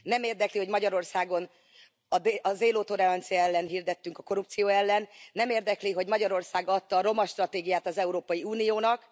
Nem érdekli, hogy Magyarországon a zéró tolerancia elvét hirdettünk a korrupció ellen. Nem érdekli, hogy Magyarország adta a romastratégiát az Európai Uniónak.